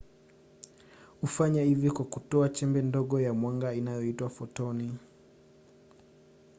hufanya hivi kwa kutoa chembe ndogo ya mwanga inayoitwa fotoni